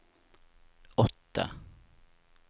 åtte